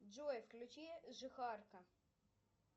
джой включи жихарка